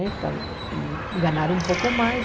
Né então e ganhar um pouco mais.